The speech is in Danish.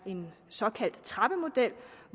en såkaldt trappemodel